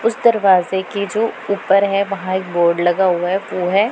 उस दरवाजे के जो ऊपर हैं। वहां एक बोर्ड लगा हुआ है वो है।